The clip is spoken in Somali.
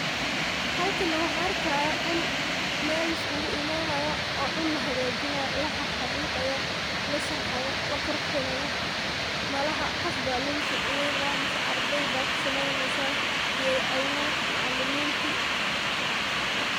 Halkan neh waxaan arkayaa dul meel liskuguimaanayo oo dul lagajinaayo laxaxariiqayo lasharxayo laqurxinayo malaxa qof baa lagusodaweynaya mise ardey baa kusameynaya geedho abuur macalimintii.